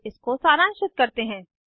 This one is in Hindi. इसको सारांशित करते हैं